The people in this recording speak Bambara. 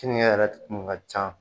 Keninke yɛrɛ kun ka ca